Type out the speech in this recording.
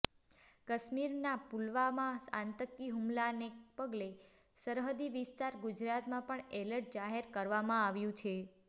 કાશ્મીરના પુલાવામાં આતંકી હુમલાને પગલે સરહદી વિસ્તાર ગુજરાતમાં પણ એલર્ટ જાહેર કરવામાં આવ્યું છે